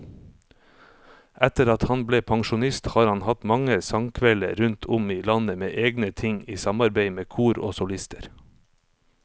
Etter at han ble pensjonist har han hatt mange sangkvelder rundt om i landet med egne ting, i samarbeid med kor og solister.